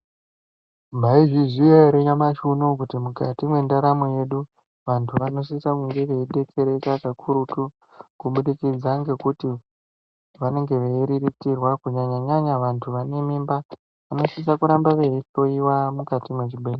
Maizviziva here nyamashi unowu kuti mukati mendaramo yedu vantu vanosisa veidetsereka kakurutu kubudikidza ngekuti vanenge veiriritirwa kunyanyanyanya vane mimba vanosisa kuramba veihloiwa apo mukati mezvibhedhlera.